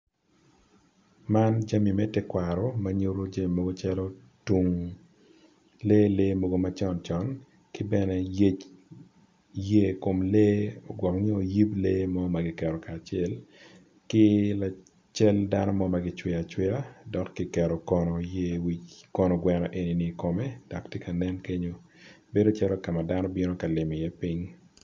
Man jami me tekwaro manyuto jami mogo calo tung lele mogo macon con kibene lyec yer ikom lee gwok nyo yib lee mogo makiketo kacel ki cal dano mo magi cweyo acweya kiketo kono yer wic kono kweno enini i kome dok tye ka nen kenyo bedo calo kama dano cito limo i ye ping.